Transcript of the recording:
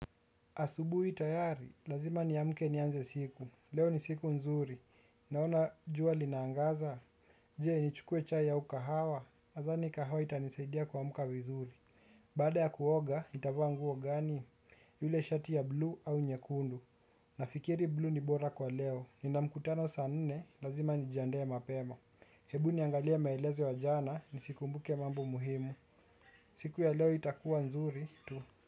Asubuhi tayari, lazima niamke nianze siku, leo ni siku nzuri, naona jua linaangaza. Je, ni chukue chai au kahawa, nadhani kahawa itanisaidia kuamka vizuri. Baada ya kuoga, nitavaa nguo gani, yule shati ya blue au nyekundu. Nafikiri blue ni bora kwa leo, nina mkutano saa nne lazima nijiandae ya mapema. Hebu niangalia maelezo wa jana, nisikumbuke mambo muhimu. Siku ya leo itakuwa nzuri, tu.